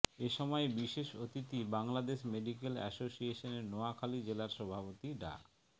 এ সময় বিশেষ অতিথি বাংলাদেশ মেডিক্যাল অ্যাসোসিয়েশন নোয়াখালী জেলার সভাপতি ডা